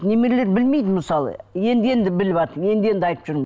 немерелер білмейді мысалы енді енді біліватыр енді енді айтып жүрмін